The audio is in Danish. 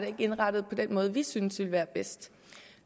er indrettet på den måde vi synes ville være bedst